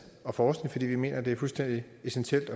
og forskning fordi vi mener at det er fuldstændig essentielt